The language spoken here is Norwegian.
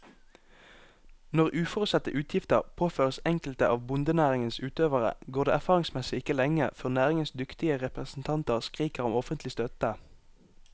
Når uforutsette utgifter påføres enkelte av bondenæringens utøvere, går det erfaringsmessig ikke lenge før næringens dyktige representanter skriker om offentlig støtte.